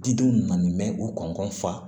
Didenw nana nin mɛn u kɔnɔnfa